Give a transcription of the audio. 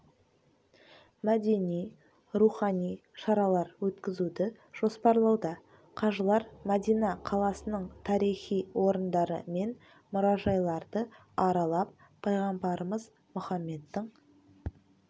мәдени рухани шаралар өткізуді жоспарлауда қажылар мәдина қаласының тарихи орындары мен мұражайларды аралап пайғамбарымыз мұхаммедтің